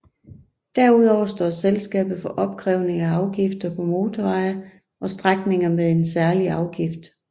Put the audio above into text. Derudover står selskabet for opkrævning af afgifter på motorveje og strækninger med en særlig afgift